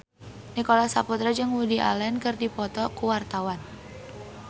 Nicholas Saputra jeung Woody Allen keur dipoto ku wartawan